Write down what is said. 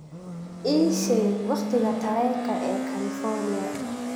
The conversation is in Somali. ii sheeg waqtiga tareenka ee california